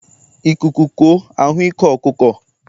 Ikuku kuo a hụ ike ọkụkọ.